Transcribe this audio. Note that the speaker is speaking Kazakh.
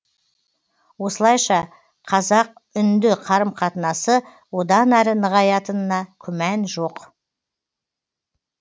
осылайша қазақ үнді қарым қатынасы одан әрі нығаятынына күмән жоқ